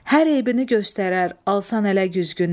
Hər eybini göstərər, alsan ələ güzgünü.